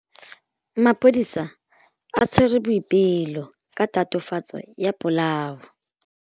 Maphodisa a tshwere Boipelo ka tatofatsô ya polaô.